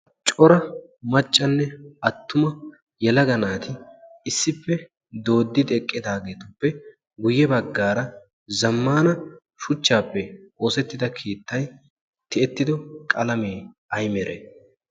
Cora maccanne attuma naati issippe dooddi eqqidaageetuppe guyye baggaara zammaana shuchchaappe keexettida keettay tiyettido qalamee ay meree?